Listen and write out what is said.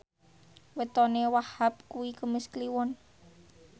wetone Wahhab kuwi Kemis Kliwon